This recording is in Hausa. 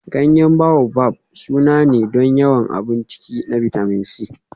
Ganyen Baobab sananne ne don yawan abun ciki na bitamin C.